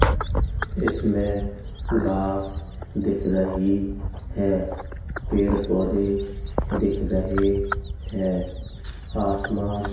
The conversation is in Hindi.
इसमे घास दिख रही है पेड़- पौधे दिख रहे हैं आसमान --